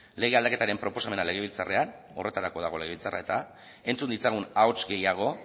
lege aldaketaren proposamena legebiltzarrean horretarako dago legebiltzarra eta entzun ditzagun ahots gehiago